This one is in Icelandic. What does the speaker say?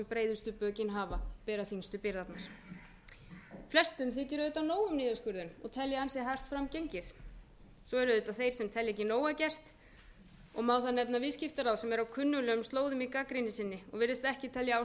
breiðustu bökin hafa bera þyngstu byrðarnar flestum þykir auðvitað nóg um í niðurskurðinum og telja ansi hart fram gengið svo eru auðvitað þeir sem telja ekki nóg að gert og má þar nefna viðskiptaráðherra sem er á kunnuglegum slóðum í gagnrýni sinni og virðist ekki telja ástæða til